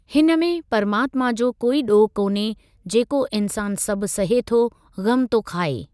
हिन में परमात्मा जो कोई ॾोहु कान्हे जेको इन्सानु सभु सहे थो ग़मु थो खाए।